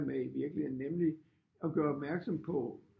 Med i virkeligheden nemlig at gøre opmærksom på